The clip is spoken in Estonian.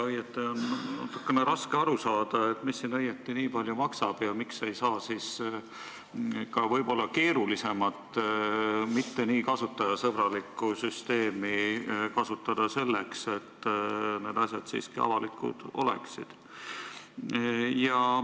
Ja natukene raske on aru saada, mis siin õieti nii palju maksab ja miks ei saa võib-olla keerulisemat, mitte nii kasutajasõbralikku süsteemi kasutada selleks, et need asjad siiski avalikud oleksid.